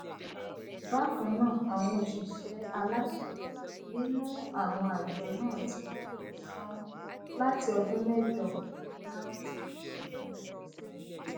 bákan náà àwọn òṣìṣẹ aláṣẹ nínú àwọn àjọ náà ti dúró sánún láti ọdún mẹjọ láti ọdún mẹjọ sẹyìn